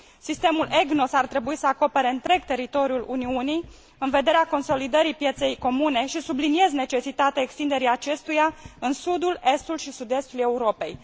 Sistemul EGNOS ar trebui să acopere întreg teritoriul Uniunii în vederea consolidării pieței comune, și subliniez necesitatea extinderii acestuia în sudul, estul și sud estul Europei.